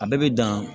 A bɛɛ bɛ dan